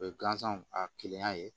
O ye gansan a kilenya ye